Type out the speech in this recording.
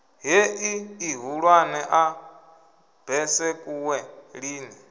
heḽi ḽihulwane ḽa besekuwe lini